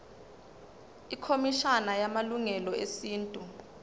ikhomishana yamalungelo esintu